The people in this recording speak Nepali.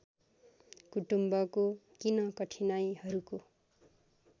कुटुम्बको किन कठिनाइहरूको